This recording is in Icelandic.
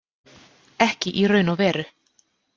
Ekki í raun og veru.